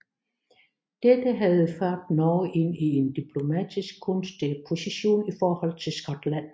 Dette havde ført Norge ind i en diplomatisk gunstig position i henhold til Skotland